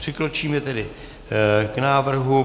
Přikročíme tedy k návrhu.